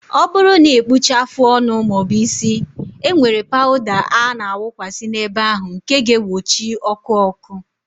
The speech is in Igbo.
Ọ bụrụ na ị kpụchaa afụ ọnụ maọbu isi, e nwere pawụda a na awụkwasi n'ebe ahụ nke ga egbochi ọkụ ọkụ